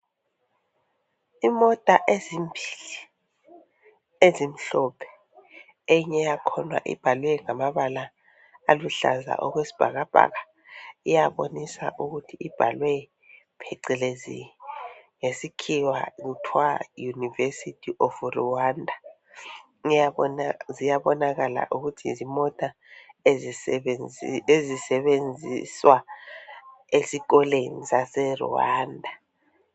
Imota ezimbili ezimhlophe, eyinye yakhona ibhaliwe ngamabala aluhlaza okwesibhakabhaka iyabonisa ukuthi ibhalwe phecelezi. Ngesikhiwa ibhalwe University of Rwanda. Ziyabonakala yizimota ezisebenziswa esikoleni sase Rwanda.